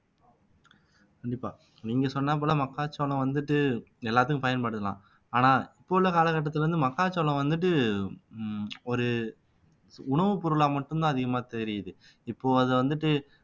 கண்டிப்பா நீங்க சொன்னாப்போல மக்காச்சோளம் வந்துட்டு எல்லாத்துக்கும் பயன்படுத்தலாம் ஆனா இப்ப உள்ள காலகட்டத்துல வந்து மக்காச்சோளம் வந்துட்டு உம் ஒரு உணவுப் பொருளா மட்டும்தான் அதிகமா தெரியுது இப்போ அதை வந்துட்டு